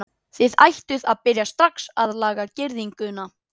Þið ættuð að byrja strax að laga girðinguna.